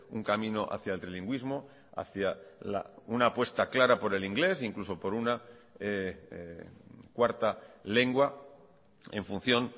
un camino hacia el trilingüismo hacia una apuesta clara por el inglés incluso por una cuarta lengua en función